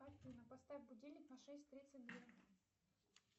афина поставь будильник на шесть тридцать две